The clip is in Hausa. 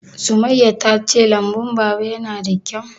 Sumayya ta ce lambun Baba ya na da kyau?